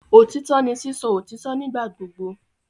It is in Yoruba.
Otitọ ni sisọ otitọ nigbagbogbo